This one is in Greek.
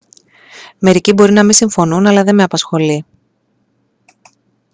μερικοί μπορεί να μη συμφωνούν αλλά δε με απασχολεί